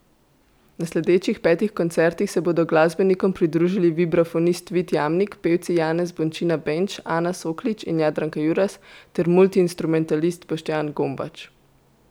Na sledečih petih koncertih se bodo glasbenikom pridružili vibrafonist Vid Jamnik, pevci Janez Bončina Benč, Ana Soklič in Jadranka Juras ter multiinstrumentalist Boštjan Gombač.